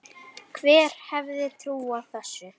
Hver hefði trúað þessu!